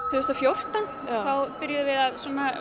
tvö þúsund og fjórtán þá byrjuðum við að